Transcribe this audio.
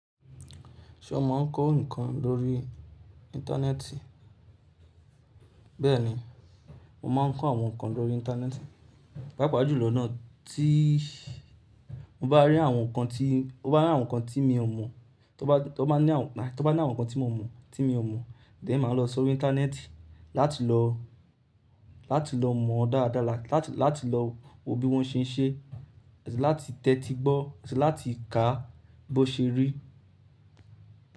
Ṣé o máa ń kọ́ nǹkan lórí Íńtánẹ́ẹ̀tì? Bẹ́ẹ̀ni, mo máa ń kọ́ àwọn nǹkan lórí Íńtánẹ́ẹ̀tì, pàápàá jù lọ ná ti mo bá rí àwọn nǹkan tí, mo bá rí àwọn nǹkan tí mi ò mọ̀, tó bá ní àwọn, tó bá ní àwọn nǹkan tí mo mọ̀, tí mi ò mọ̀, then máa lọ sórí Íńtánẹ́ẹ̀tì láti lọ, láti lọ mọ̀ dáadáa, láti lọ wo bí wọ́n ṣe ń ṣe, èsì láti tẹ́tí gbọ́, èsì láti kà á bó ṣe rí.